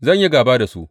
Zan yi gāba da su.